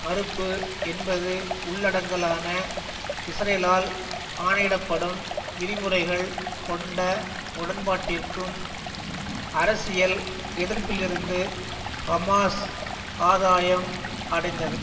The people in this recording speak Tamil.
மறுப்பு என்பது உள்ளடங்கலான இஸ்ரேலால் ஆணையிடப்படும் விதிமுறைகள் கொண்ட உடன்பாட்டிற்கும் அரசியல் எதிர்ப்பிலிருந்து ஹமாஸ் ஆதாயம் அடைந்தது